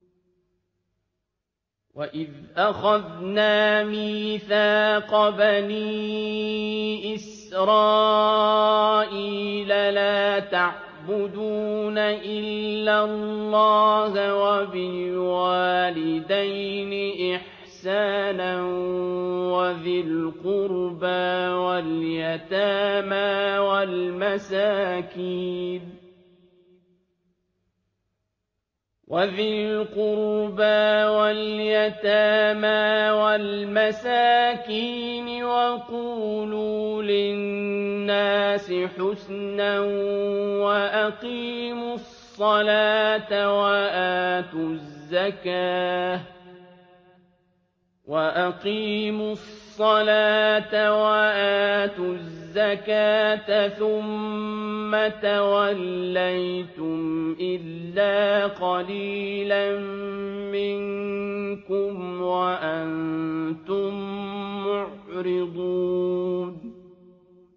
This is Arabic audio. وَإِذْ أَخَذْنَا مِيثَاقَ بَنِي إِسْرَائِيلَ لَا تَعْبُدُونَ إِلَّا اللَّهَ وَبِالْوَالِدَيْنِ إِحْسَانًا وَذِي الْقُرْبَىٰ وَالْيَتَامَىٰ وَالْمَسَاكِينِ وَقُولُوا لِلنَّاسِ حُسْنًا وَأَقِيمُوا الصَّلَاةَ وَآتُوا الزَّكَاةَ ثُمَّ تَوَلَّيْتُمْ إِلَّا قَلِيلًا مِّنكُمْ وَأَنتُم مُّعْرِضُونَ